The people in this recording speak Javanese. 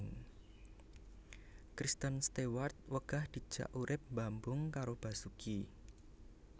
Kristen Stewart wegah dijak urip mbambung karo Basuki